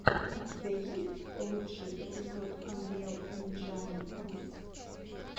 у тебя есть лучший эпизод анриэл энджайн рус